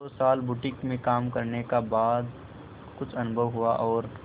दो साल बुटीक में काम करने का बाद कुछ अनुभव हुआ और